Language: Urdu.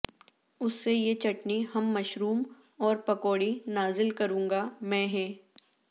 اس سے یہ چٹنی ہم مشروم اور پکوڑی نازل کروں گا میں ہے